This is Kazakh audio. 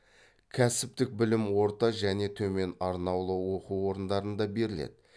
кәсіптік білім орта жцне төмен арнаулы оқу орындарында беріледі